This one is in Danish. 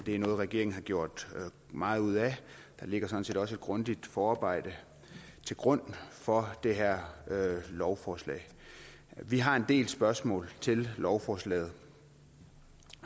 er noget regeringen har gjort meget ud af der ligger sådan set også et grundigt forarbejde til grund for det her lovforslag vi har en del spørgsmål til lovforslaget